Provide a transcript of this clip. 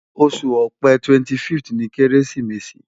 Oṣu Ọ̀pẹ 25th ni keresimesi